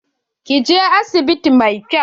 Kin je asibiti mai kyau?